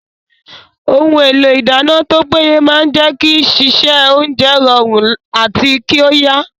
Ohun èlò ìdáná tó péye máa jẹ́ kí sísè oúnjẹ rọrùn àti kí ó yá